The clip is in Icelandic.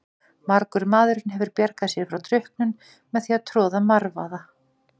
Margur maðurinn hefur bjargað sér frá drukknun með því að troða marvaða.